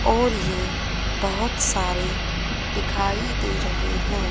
और ये बहुत सारे दिखाई दे रहे हैं।